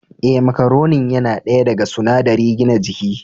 Ee, macaronin yana daya daga sunadari gina jiki.